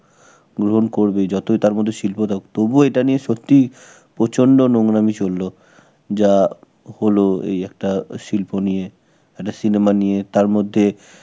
গ্রহণ করবে. যতই তার মধ্যে শিল্প দাও. তবুও এটা নিয়ে সত্যি প্রচন্ড নোংরামি চলল. যা হল, এই একটা শিল্প নিয়ে, একটা cinema নিয়ে. তার মধ্যে